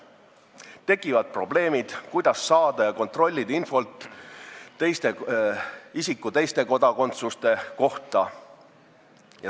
Tekivad probleemid, kuidas saada ja kontrollida infot isiku teiste kodakondsuste kohta.